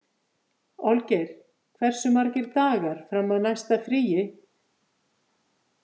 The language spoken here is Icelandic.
Olgeir, hversu margir dagar fram að næsta fríi?